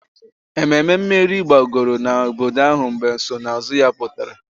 Ememe mmeri gbagoro n'obodo ahụ mgbe nsonaazụ ya pụta